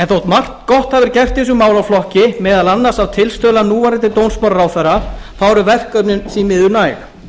þótt margt gott hafi verið gert í þessum málaflokki meðal annars að tilstuðlan núverandi dómsmálaráðherra eru verkefnin því miður næg